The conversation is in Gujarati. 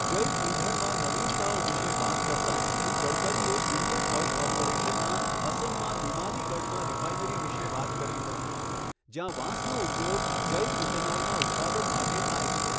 જૈવઇંધણમાં નવીનતાઓ વિશે વાત કરતાં શ્રી ગડકરીએ ઇન્ડિયન ઓઇલ કોર્પોરેશનનાં અસમમાં નુમાલીગઢમાં રિફાઇનરી વિશે વાત કરી હતી, જ્યાં વાંસનો ઉપયોગ જૈવ ઇથેનોલનાં ઉત્પાદન માટે થાય છે.